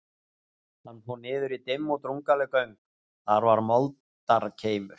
Hann fór niður í dimm og drungaleg göng, þar var moldarkeimur.